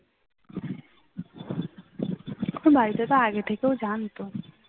ওর বাড়িতে তো আগে থেকেই সব জানতো।